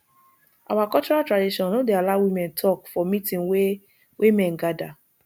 our cultural tradition no dey allow woman talk for meeting wey wey men gather